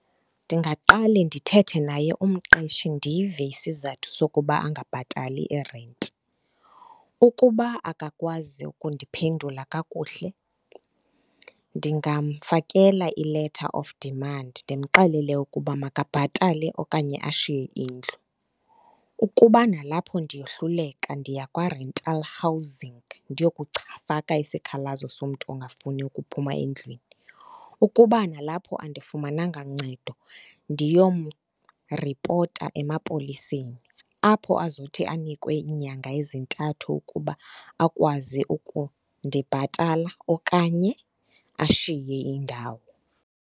Ndingaqale ndithethe naye umqeshi ndive isizathu sokuba angabhatali irenti. Ukuba akakwazi ukundiphendula kakuhle, ndingamfakela i-letter of demand ndimxelele ukuba makabhatale okanye ashiye indlu. Ukuba nalapho ndiyohluleka, ndiya kwa-rental housing, ndiyokufaka isikhalazo somntu ongafuniyo ukuphuma endlwini. Ukuba nalapho andifumananga ncedo ndiyomripota emapoliseni, apho azothi anikwe iinyanga ezintathu ukuba akwazi ukundibhatala okanye ashiye indawo.